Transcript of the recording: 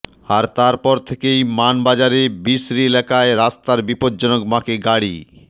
আর তার পর থেকেই মানবাজারের বিসরি এলাকায় রাস্তার বিপজ্জনক বাঁকে গাড়ি